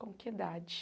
Com que idade?